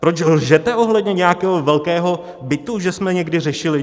Proč lžete ohledně nějakého velkého bytu, že jsme někdy řešili?